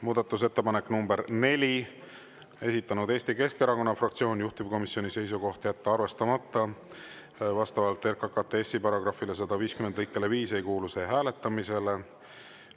Muudatusettepanek nr 4, esitanud Eesti Keskerakonna fraktsioon, juhtivkomisjoni seisukoht on jätta arvestamata, vastavalt RKKTS‑i § 150 lõikele 5 ei kuulu see hääletamisele.